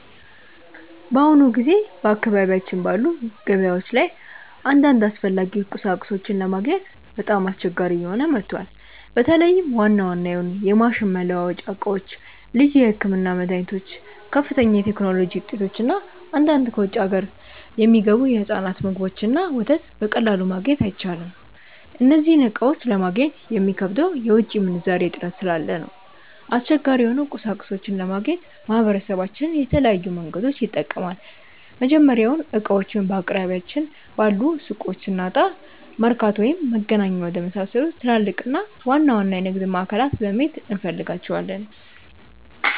በአሁኑ ጊዜ በአካባቢያችን ባሉ ገበያዎች ላይ አንዳንድ አስፈላጊ ቁሳቁሶችን ለማግኘት በጣም አስቸጋሪ እየሆነ መጥቷል። በተለይም ዋና ዋና የሆኑ የማሽን መለዋወጫ ዕቃዎች፣ ልዩ የሕክምና መድኃኒቶች፣ ከፍተኛ የቴክኖሎጂ ውጤቶች እና አንዳንድ ከውጭ አገር የሚገቡ የሕፃናት ምግቦችንና ወተት በቀላሉ ማግኘት አይቻልም። እነዚህን ዕቃዎች ለማግኘት የሚከብደው የውጭ ምንዛሬ እጥረት ስላለ ነው። አስቸጋሪ የሆኑ ቁሳቁሶችን ለማግኘት ማህበረሰባችን የተለያዩ መንገዶችን ይጠቀማል። መጀመሪያውኑ ዕቃዎቹን በአቅራቢያችን ባሉ ሱቆች ስናጣ፣ መርካቶ ወይም መገናኛ ወደመሳሰሉ ትላልቅና ዋና ዋና የንግድ ማዕከላት በመሄድ እንፈልጋቸዋለን።